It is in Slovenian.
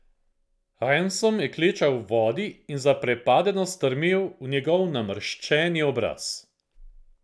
Ransom je klečal v vodi in zaprepadeno strmel v njegov namrščeni obraz.